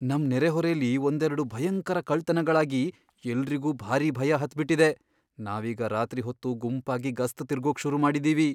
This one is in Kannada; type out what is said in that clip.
ನಮ್ ನೆರೆಹೊರೆಲಿ ಒಂದೆರ್ಡು ಭಯಂಕರ ಕಳ್ತನಗಳಾಗಿ ಎಲ್ರಿಗೂ ಭಾರಿ ಭಯ ಹತ್ಬಿಟಿದೆ. ನಾವೀಗ ರಾತ್ರಿ ಹೊತ್ತು ಗುಂಪಾಗಿ ಗಸ್ತ್ ತಿರ್ಗೋಕ್ ಶುರು ಮಾಡಿದೀವಿ.